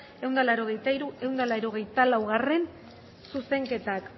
ehun eta laurogeita hiru ehun eta laurogeita laugarrena zuzenketak